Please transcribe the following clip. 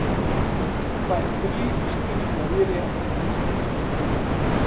Skupaj tri, štiri klavirje, nič več.